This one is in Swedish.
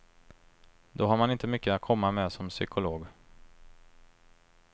Då har man inte mycket att komma med som psykolog.